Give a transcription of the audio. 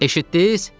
Eşitdiniz?